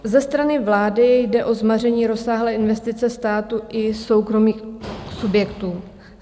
Ze strany vlády jde o zmaření rozsáhlé investice státu i soukromých subjektů.